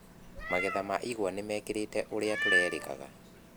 Magetha ma igũa nĩmakĩrĩte ũrĩa tũrerĩgaga.